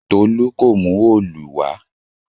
Tolu kò mú Òòlù wà